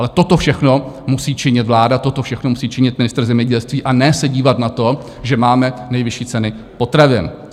Ale toto všechno musí činit vláda, toto všechno musí činit ministr zemědělství, a ne se dívat na to, že máme nejvyšší ceny potravin.